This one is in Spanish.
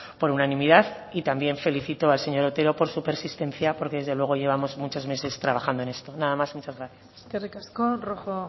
por unanimidad y también felicito al señor otero por su persistencia porque desde luego llevamos muchos meses trabajando en esto nada más y muchas gracias eskerrik asko rojo